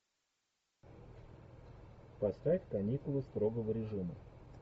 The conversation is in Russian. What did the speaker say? поставь каникулы строгого режима